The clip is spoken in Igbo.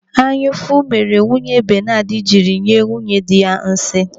Anyaụfụ meere nwunye Benadu jiri nwunyedị ya nsị.